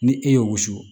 Ni e ye woso